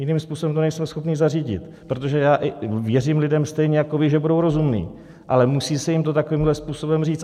Jiným způsobem to nejsme schopni zařídit, protože já i věřím lidem stejně jako vy, že budou rozumní, ale musí se jim to takovýmhle způsobem říct.